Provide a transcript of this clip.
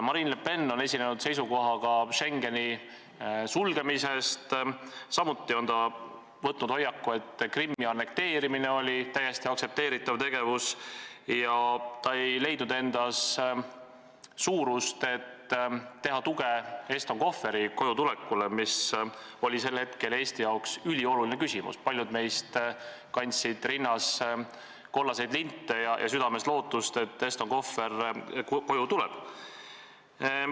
Marine Le Pen on esinenud seisukohaga Schengeni sulgemise kohta, samuti on ta võtnud hoiaku, et Krimmi annekteerimine oli täiesti aktsepteeritav, ja ta ei leidnud endas suurust, et anda tuge Eston Kohveri kojutulekule, mis oli sel hetkel Eestile ülioluline küsimus, paljud meist kandsid rinnas kollaseid linte ja südames lootust, et Eston Kohver tuleb koju.